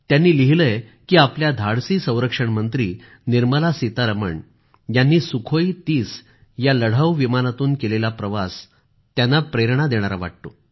त्यांनी लिहिले आहे की आपल्या धाडसी संरक्षण मंत्री निर्मला सीतारमण यांनी सुखोई30 या लढावू विमानातून केलेला प्रवास त्यांना प्रेरणा देणारा वाटतो